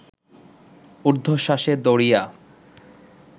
উর্ধ্বশ্বাসে দৌড়িয়া